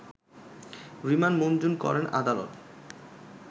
remand মুঞ্জুর করেন আদালত